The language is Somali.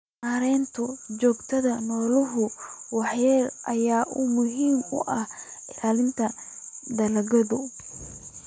Maareynta joogitaanka noolaha waxyeelada leh ayaa muhiim u ah ilaalinta dalagyada.